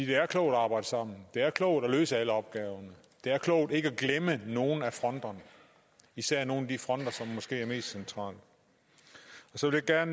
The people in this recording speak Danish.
det er klogt at arbejde sammen det er klogt at løse alle opgaverne det er klogt ikke at glemme nogen af fronterne især nogle af de fronter som måske er mest centrale og så vil jeg